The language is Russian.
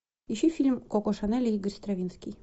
ищи фильм коко шанель и игорь стравинский